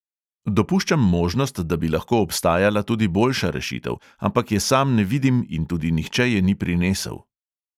Dopuščam možnost, da bi lahko obstajala tudi boljša rešitev, ampak je sam ne vidim in tudi nihče je ni prinesel.